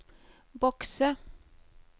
bokse